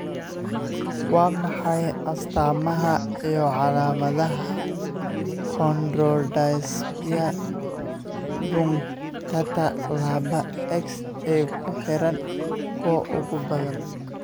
Waa maxay astaamaha iyo calaamadaha Chondrodysplasia punctata laba X ee ku xiran kuwa ugu badan?